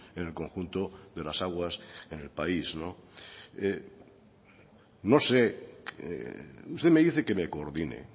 en el conjunto de las aguas en el país no sé usted me dice que me coordine